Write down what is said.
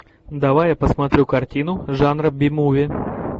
давай я посмотрю картину жанра би муви